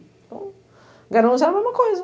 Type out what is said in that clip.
Então, Garanhus é a mesma coisa.